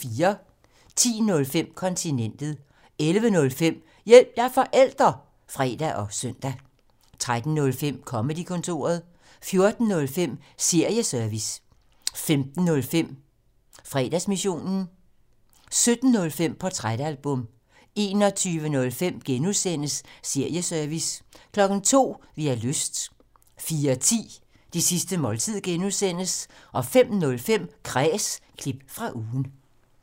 10:05: Kontinentet 11:05: Hjælp – jeg er forælder! (fre og søn) 13:05: Comedy-kontoret 14:05: Serieservice 15:05: Fredagsmissionen 17:05: Portrætalbum 21:05: Serieservice (G) 02:00: Vi har lyst 04:10: Det sidste måltid (G) 05:05: Kræs – klip fra ugen